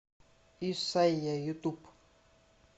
исайя ютуб